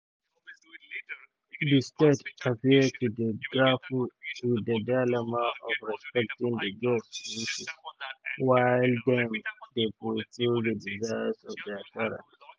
di state appear to dey grapple wit di dilemma of respecting di girls wishes while dem dey fulfil di um desires of dia parents.